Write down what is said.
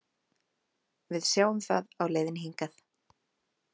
Við sáum það á leiðinni hingað.